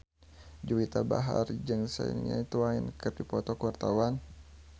Juwita Bahar jeung Shania Twain keur dipoto ku wartawan